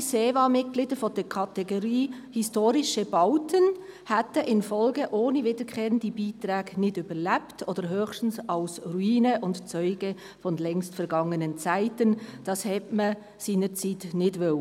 Ehemalige SEVA-Mitglieder der Kategorie «Historische Bauten» hätten in der Folge ohne wiederkehrende Beiträge nicht überlebt, beziehungsweise höchstens als Ruine oder als Zeuge längst vergangener Zeiten, was man aber seinerzeit nicht wollte.